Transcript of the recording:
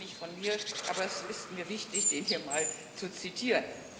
Der stammt gar nicht von mir, aber es ist mir wichtig, den hier mal zu zitieren.